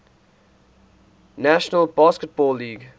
national basketball league